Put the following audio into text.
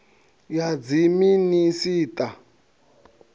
ya dziminis a u ta